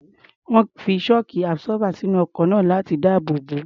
Wọ́n fi shock absorber sínú ọkọ̀ náà láti dáàbò bò ó.